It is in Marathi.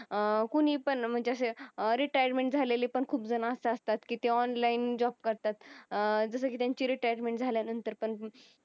अं कोणी पण म्हणजे असे retirement झालेले पण खूप जण असे असतात की ते online job करतात अं जसं की त्यांच्या retirement झाल्यानंतर पण